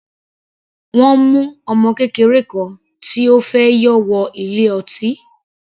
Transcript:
Wọ́n mu ọmọ kékeré kan tí ó fẹ́ yọ wọ ilé ọtí.